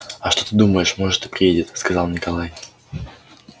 а что ты думаешь может и приедет сказал николай